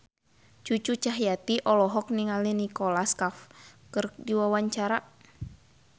Cucu Cahyati olohok ningali Nicholas Cafe keur diwawancara